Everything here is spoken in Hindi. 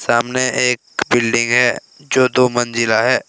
सामने एक बिल्डिंग है जो दो मंजिला है।